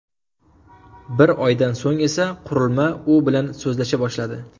Bir oydan so‘ng esa, qurilma u bilan so‘zlasha boshladi .